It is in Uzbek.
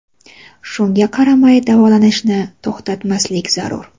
Shunga qaramay davolanishni to‘xtatmaslik zarur.